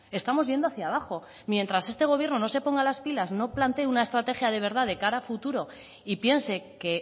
estamos yendo hacia abajo mientras este gobierno no se ponga las pilas no plantee una estrategia de verdad de cara a futuro y piense que